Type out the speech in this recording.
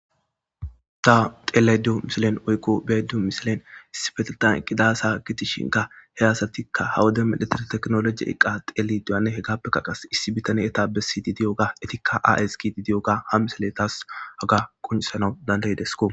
Ta xeeleydio misilen oykko beedu misilen sifetetan qidaasa gitishinka he hasatikka hawode medhetir teknoloji eqqa xele duyane he gappeka qas issi bitane eta bessi di diyo ga etikka aski di di'oga ha misile taas aga quncisanau dandaydesko.